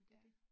Ja